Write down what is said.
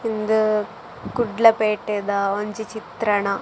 ಇಂದ್ ಕುಡ್ಲ ಪೇಟೆದ ಒಂಜಿ ಚಿತ್ರಣ.